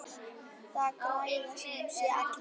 Það græða sem sé allir.